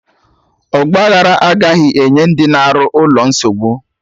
Ọgba aghara agaghị enye ndị na-arụ ụlọ nsogbu